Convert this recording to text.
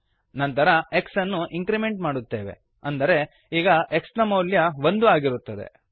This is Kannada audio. ನಂತರ x ಅನ್ನು ಇಂಕ್ರಿಮೆಂಟ್ ಮಾಡುತ್ತೇವೆ ಅಂದರೆ ಈಗ x ನ ಮೌಲ್ಯ ಒಂದು ಆಗಿರುತ್ತದೆ